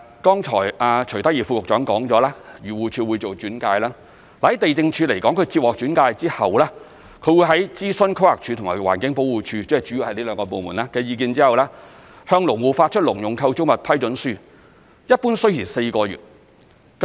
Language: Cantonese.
剛才徐德義副局長說過，漁農自然護理署會做轉介而地政總署接獲轉介後，會在諮詢規劃署及環境保護署——主要是這兩個部門——的意見後，向農戶發出農用構築物批准書，一般需時4個月。